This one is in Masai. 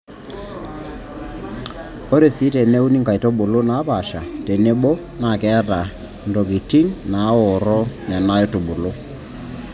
Ore sii teneuni nkaitubulu naapaasha tenebo naa keeta ntoking naaorro Nena aitubulu.